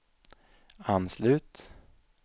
anslut